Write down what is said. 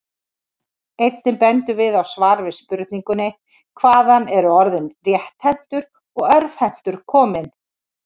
Einnig bendum við á svar við spurningunni Hvaðan eru orðin rétthentur og örvhentur komin?